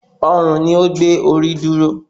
Ọrùn ni ó gbé orí dúró